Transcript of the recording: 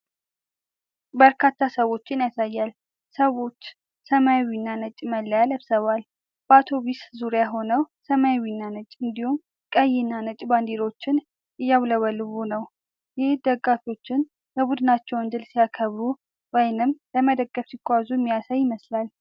በርካታ ሰዎችን ያሳያል። ሰዎች ሰማያዊና ነጭ መለያ ለብሰዋል። በአውቶብስ ዙሪያ ሆነው ሰማያዊና ነጭ እንዲሁም ቀይና ነጭ ባንዲራዎችን እያውለበለቡ ነው። ይህ ደጋፊዎች የቡድናቸውን ድል ሲያከብሩ ወይም ለመደገፍ ሲጓዙ የሚያሳይ ይመስላል።